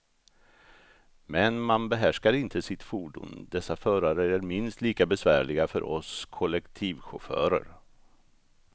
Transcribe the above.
Men man behärskar inte sitt fordon, dessa förare är minst lika besvärliga för oss kollektivchaufförer.